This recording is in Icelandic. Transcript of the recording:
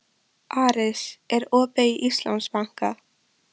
Aris, er opið í Íslandsbanka?